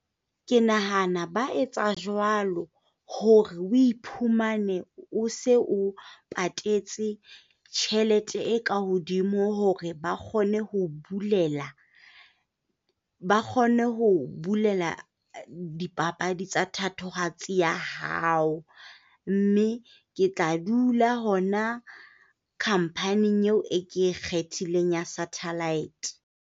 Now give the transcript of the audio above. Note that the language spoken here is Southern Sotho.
Ke nahana ba etsa jwalo hore o iphumane o se o patetse tjhelete e ka hodimo hore ba kgone ho bulela, ba kgone ho bulela dipapadi tsa thatohatsi ya hao, mme ke tla dula hona company eo e ke e kgethileng ya satellite.